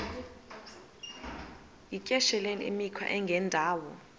yityesheleni imikhwa engendawo